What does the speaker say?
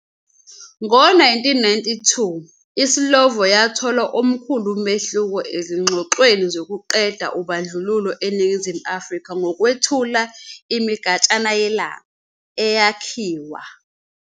Ngo-1992, iSlovo yathola omkhulu umehluko ezingxoxweni zokuqeda ubandlululo eNingizimu Afrika ngokwethula "imigatshana yelanga" eyakhiwa